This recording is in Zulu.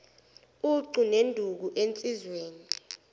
ucu neduku ensizweni